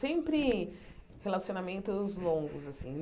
Sempre relacionamentos longos assim.